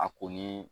A ko ni